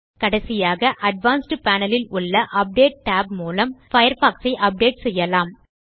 கடைசியாக advanced panel இல் உள்ள அப்டேட் tab மூலம் நாம் பயர்ஃபாக்ஸ் ஐ அப்டேட் செய்யலாம்